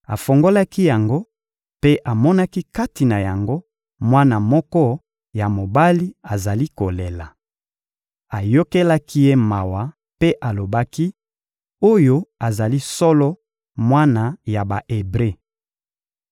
Afungolaki yango mpe amonaki kati na yango mwana moko ya mobali azali kolela. Ayokelaki ye mawa mpe alobaki: «Oyo azali solo mwana ya Ba-Ebre.»